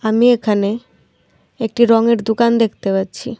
আমি এখানে একটি রঙের দুকান দেখতে পাচ্ছি।